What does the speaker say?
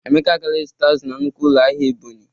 Emeka agala izụta azụ na nnukwu ụlọ ahịa Ebonyi.